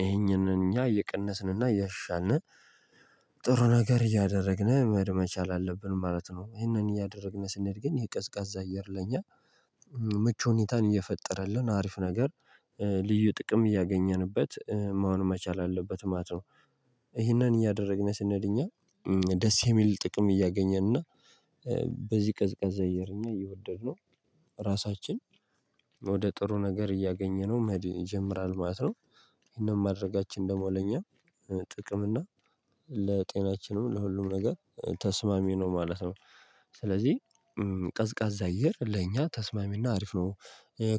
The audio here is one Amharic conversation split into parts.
ይሄንን እኛ እየቀነስንና ያሻንን ጥሩ ነገር እያደረግን መድመቻ አለብን ማለት ነው። ይሄንን እያደረግን ስንሄድ ግን የቀዝቃዛ አየር ለኛ ምቹ ሁኔታን የፈጠረልን አሪፍ ነገር ልዩ ጥቅም እያገኘንበት መሆን መቻል አለበት ማለት ነው። ይሄንን እያደረግን ስንል እኛ ደስ የሚል ጥቅም እያገኘን እና በዚህ ቀዝቃዛ እየር እና እየወደድነው ራሳችን ወደ ጥሩ ነገር እያገኘነው መሄድ ይጀምራል ማለት ነው። ይህን ማድረጋችን ደግሞ ለኛ ጥቅም እና ለጤናችንም ለሁሉም ነገር ተስማሚ ነው ማለት ነው። ስለዚህ ቀዝቃዛ አየር ለእኛ ተስማሚና አሪፍ ነው።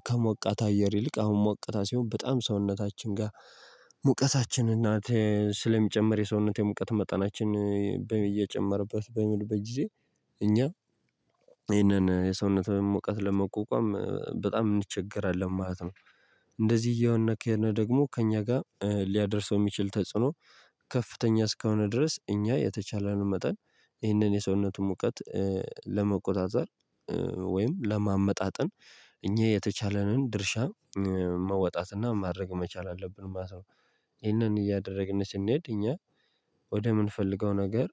ከሞቃት አየር ይልቅ አሁን ሞቅታ ሲሆን በጣም ሰውነታችን ጋር ሙቀታችን እና ስለሚጨመር የሰውነት የሙቀት መጠናችን እየጨመረበት በሚሄድበት ጊዜ እኛ ይሄንን የሰውነት ሙቀት ለመቋቋም በጣም እንቸገራለን ማለት ነው። እንደዚህ እየሆነ ከሄድን ደግሞ ከእኛ ጋር ሊያደርሰው የሚችል ተጽዕኖ ከፍተኛ እስከሆነ ድረስ እኛ የተቻለንን መጠን ይህንን የሰውነቱ ሙቀት ለመቆጣጠር ወይም ለማመጣጠን እኛ የተቻለንን ድርሻ መውጣትና ማድረግ መቻል አለብን ማለት ነው። ይሄንን እያደረግን ስንሄድ እኛ ወደምንፈልገው ነገር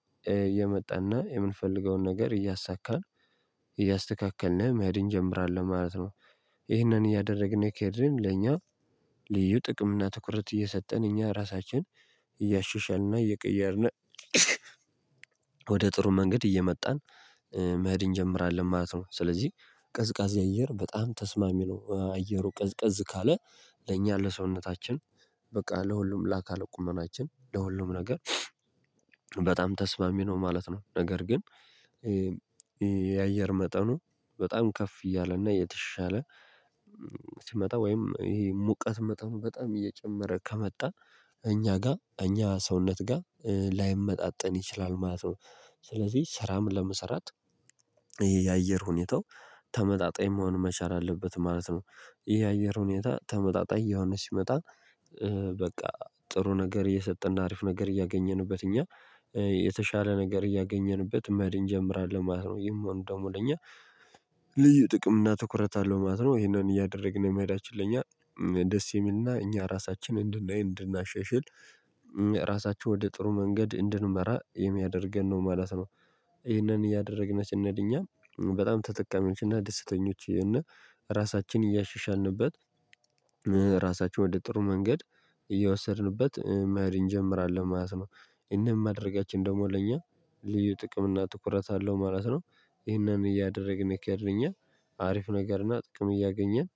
እየመጣና የምንፈልገውን ነገር እያሳካን እያስተካከልን መሄድን እንጀምራለን ማለት ነው። ይህንን እያደረግን ከሄድን ለኛ ልዩ ጥቅም እና ትኩረት እየሰጠን እኛ ራሳችንን እያሻሻልንና እየቀየርን ወደ ጥሩ መንገድ እየመጣን መሄድ እንጀምራለን ማለት ነው። ስለዚህ ቀዝቃዜ አየር በጣም ተስማሚ ነው አየሩ ቀዝቀዝ ካለ ለኛ ለሰውነታችን በቃ ለሁሉም ለአካለ ቁመናችን ለሁሉም ነገር በጣም ተስማሚ ነው ማለት ነው። ነገር ግን የአየር መጠኑ በጣም ከፍ እያለና የተሻለ ሲመጣ ወይም ይሄ ሙቀት መጠን በጣም እየጨመረ ከመጣ እኛ ጋር እኛ ሰውነት ጋር ላይመጣጠን ይችላል ማለት ነው። ስለዚህ ስራም ለመስራት ይሄ የአየር ሁኔታው ተመጣጣኝ መሆን መቻል አለበት ማለት ነው። ይሄ የአየር ሁኔታ ተመጣጣኝ እየሆነ ሲመጣ በቃ ጥሩ ነገር እየሰጠን አሪፍ ነገር እያገኘንበት እኛ የተሻለ ነገር እያገኘንበት መሄድ እጀምራለሁ ማለት ነው። ይሄን ደግሞ ለኛ ልዩ ጥቅም እና ትኩረት አለው ማለት ነው። ይሄንን እያደረግን የመሄዳችን ለኛ ደስ የሚልና እኛ ራሳችን እንድናይ እንድናሻሻል ራሳችን ወደ ጥሩ መንገድ እንድንመራ የሚያደርገን ነው ማለት ነው። ይህንን እያደረግን ስንሄድ እኛ በጣም ተጠቃሚዎች እና ደስተኞች እና ራሳችን እያሻሻልንበት ራሳችን ወደ ጥሩ መንገድ እየወሰድንበት መሄድ እንጀምራለን ማለት ነው። ይህን ማድረጋችን ደግሞ ለእኛ ልዩ ጥቅም እና ትኩረት አለው ማለት ነው። ይህንን እያደረግን ከሄድን እኛ አሪፍ ነገር እና ጥሩ እያገኘን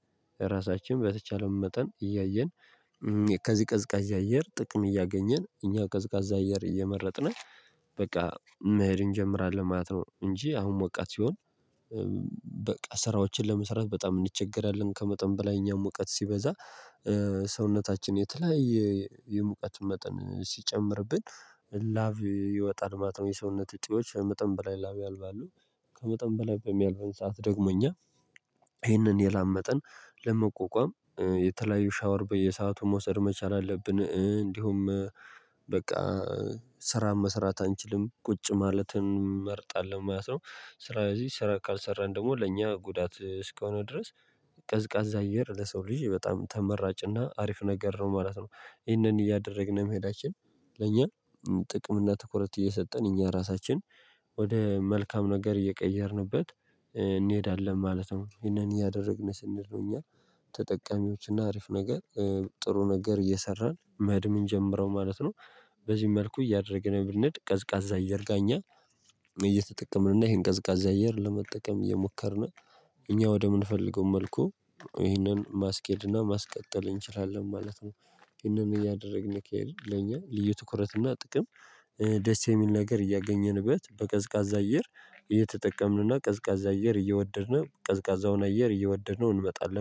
ራሳችን በተቻለን መጠን እያየን ከዚህ ቀዝቃዛ አየር ጥቅም እያገኘን እኛ ቀዝቃዛ አየር እየመረጥን በቃ መሄድ እንጀምራለን ማለት ነው። እንጂ አሁን ሞቃት ሲሆን በቃ ስራዎችን ለመስራት በጣም እንቸገራለን ከመጠን በላይ እኛም ሙቀት ሲበዛ ሰውነታችን የተለያየ የሙቀት መጠን ሲጨምርብን ላቭ ይወጣል ማለት ነው። የሰውነት እጢዎች ከመጠን ብላ ላቭ ያልባሉ ከመጠን በላይ በሚያልቨን ሰዓት ደግሞ እኛ ይሄንን የላቭ መጠን ለመቆቋም የተለያዩ ሻወር በየሰአቱ መውሰድ መቻል አለብን። እንዲሁም በቃ ስራ መስራት አንችልም ቁጭ ማለትን እንመርጣለን ማለት ነው። ስራ ስለዚህ ስራ ካልሰራን ደግሞ ለእኛ ጉዳት እስከሆነ ድረስ ቀዝቃዛ አየር ለሰው ልጅ በጣም ተመራጭና አሪፍ ነገር ነው ማለት ነው። ይሄንን እያደረግን መሄዳችን ለእኛ ጥቅም እና ትኩረት እየሰጠን እኛ ራሳችን ወደ መልካም ነገር እየቀየርንበት እንሄዳለን ማለት ነው። ይሄንን እያደረግን ስንሄድ እኛ ተጠቃሚዎች አሪፍ ነገር ጥሩ ነገር እየሰራን መሄድ ምንጀምረው ማለት ነው። በዚህ መልኩ እያደረግን ብንሄድ ቀዝቃዛ አየር ጋኛ እየተጠቀምን እና ይሄን ቀዝቃዛ አየር ለመጠቀም እየሞከርን እኛ ወደምንፈልገው መልኩ ይህንን ማስኬድና ማስቀጠል እንችላለን ማለት ነው። ይህንን እያደረግን ከሄድን ለኛ ልዩ ትኩረትና ጥቅም ደስ የሚል ነገር እያገኘንበት በቀዝቃዛ አየር እየተጠቀምንና ቀዝቃዛ አየር እየወደድን ቀዝቃዛውን አየር እየወደድነው እንመጣለን